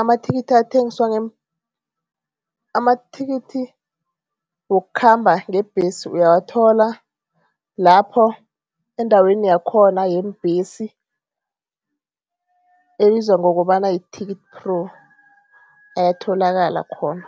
amathikithi athengiswa amathikithi wokukhamba ngebhesi uyawathola lapho endaweni yakhona yeembhesi, ebizwa ngokobana yi-TicketPro ayatholakala khona.